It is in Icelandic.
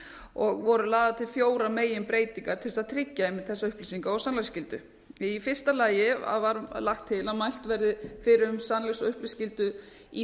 og voru lagðar til fjórar meginbreytingar til þess að tryggja einmitt þessa upplýsinga og sannleiksskyldu í fyrsta lagi var lagt til að mælt væri fyrir um sannleiks og upplýsingaskyldu í